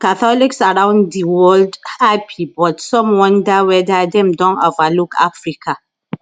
catholics around di world happy but some wonder weda dem don overlook africa